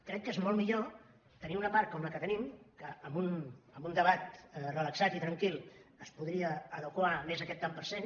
crec que és molt millor tenir ne una part com la que tenim i que amb un debat relaxat i tranquil es podria adequar més aquest tant per cent